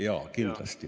Jaa, kindlasti.